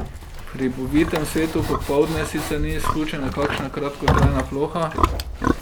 V hribovitem svetu popoldne sicer ni izključena kakšna kratkotrajna ploha.